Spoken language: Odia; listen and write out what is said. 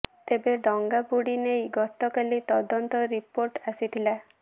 ତେବେ ଡଙ୍ଗା ବୁଡ଼ି ନେଇ ଗତକାଲି ତଦନ୍ତ ରିପୋର୍ଟ ଆସିଥିଲା